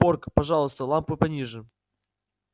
порк пожалуйста лампу пониже